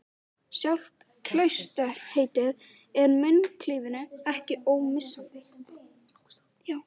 Sjálft klausturheitið er munklífinu ekki ómissandi.